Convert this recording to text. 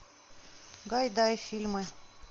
гайдай фильмы